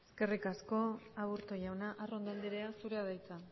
eskerrik asko aburto jauna arrondo andrea zurea da hitza